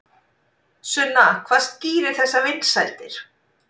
Sunna hvað skýrir þessar vinsældir?